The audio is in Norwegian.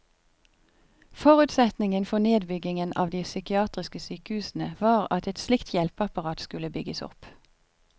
Forutsetningen for nedbyggingen av de psykiatriske sykehusene var at et slikt hjelpeapparat skulle bygges opp.